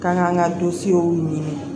K'an k'an ka dusuw ɲini